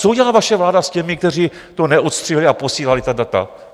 Co udělala vaše vláda s těmi, kteří to neodstřihli a posílali ta data?